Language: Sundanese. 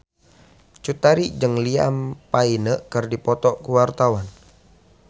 Cut Tari jeung Liam Payne keur dipoto ku wartawan